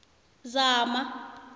zama